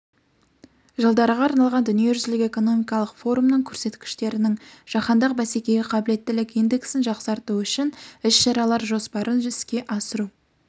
жылдарға арналған дүниежүзілік экономикалық форумның көрсеткіштерінің жаһандық бәсекеге қабілеттілік индексін жақсарту үшін іс-шаралар жоспарын іске асыру